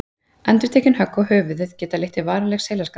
Endurtekin högg á höfuðið geta leitt til varanlegs heilaskaða.